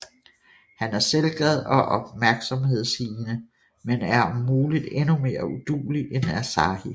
Han er selvglad og opmærksomhedshigende men er om muligt endnu mere uduelig end Asahi